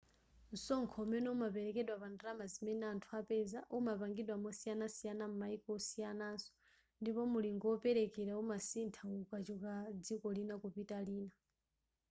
msonkho umene umaperekedwa pa ndalama zimene anthu apeza umapangidwa mosiyanasiyana m'maiko osiyanaso ndipo mulingo woperekera umasintha ukachoka dziko lina kupita lina